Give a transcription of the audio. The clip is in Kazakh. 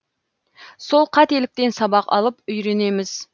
сол қателіктен сабақ алып үйренеміз